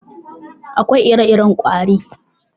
Akwai ire-iren ƙwari.